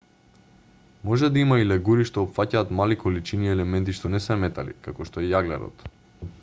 може да има и легури што опфаќаат мали количини елементи што не се метали како што е јаглерод